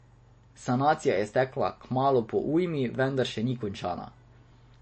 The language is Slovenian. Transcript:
Sanacija je stekla kmalu po ujmi, vendar še ni končana.